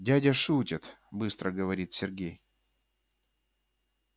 дядя шутит быстро говорит сергей